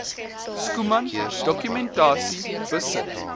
schoeman dokumentasie besit